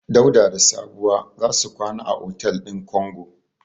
Dauda da Sabuwa za su kwana a otel din Kongo.